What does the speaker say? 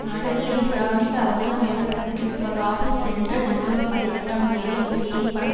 நடுநிலை விசாரணைக்கு அவசரம் ஏற்பட்டிருப்பதாக சென்ற டிசம்பர்பதினெட்டுந் தேதி அந்த செய்தி படம்